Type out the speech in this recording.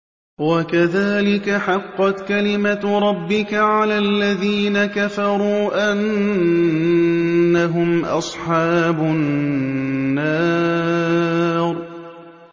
وَكَذَٰلِكَ حَقَّتْ كَلِمَتُ رَبِّكَ عَلَى الَّذِينَ كَفَرُوا أَنَّهُمْ أَصْحَابُ النَّارِ